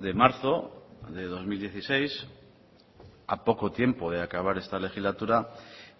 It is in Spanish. de marzo de dos mil dieciséis a poco tiempo de acabar esta legislatura